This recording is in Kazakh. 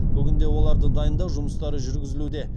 бүгінде оларды дайындау жұмыстары жүргізілуде